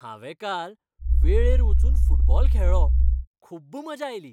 हांवें काल वेळेर वचून फुटबॉल खेळ्ळो, खुब्ब मजा आयली.